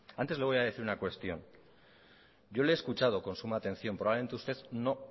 antes le voy a decir una cuestión yo le he escuchado con suma atención probablemente usted no